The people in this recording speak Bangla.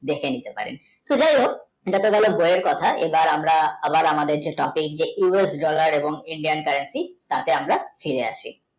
দেখে নিতে পারেন তো যাই হোক তো ঠিক আছে, বইয়ের কথা আবার আমরা আমাদের যে traffic যে US dollar এবং Indian country তাতে আমরা ফিরে আসি